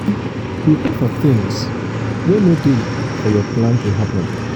prepare for things um wey um no dey for your plan to happen